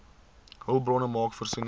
hulpbronne maak voorsiening